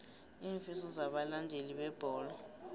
iinfiso zabalandeli bebholo